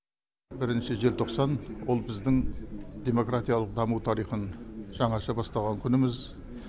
бірінші желтоқсан ол біздің демократиялық даму тарихын жаңаша бастаған күніміз